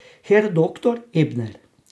Herr doktor Ebner.